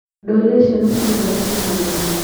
Ndorire ciana cigĩthaka kĩharoinĩ.